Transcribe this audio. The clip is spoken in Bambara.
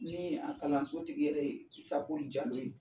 Ni a kalanso tigi yɛrɛ ye Kisako Jalo ye.